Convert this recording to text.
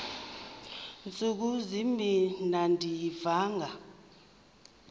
ntsuku zimbin andiyivanga